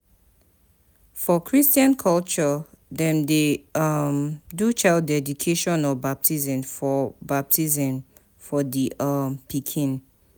For christian culture dem de um do child dedication or baptism for baptism for di um pikin